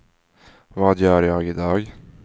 vad gör jag idag